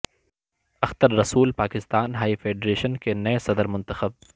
Akhtar Rasool Pakistan hockey federation کے نئے صدر منتخب